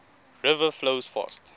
river flows fast